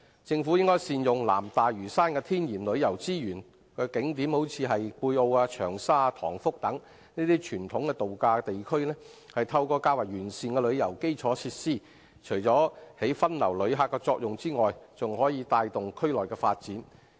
政府應善用南大嶼山的天然旅遊資源及景點，如貝澳、長沙及塘福等傳統度假地區，透過較完善的旅遊基礎設施，除發揮分流旅客的作用外，還可帶動區內的發展。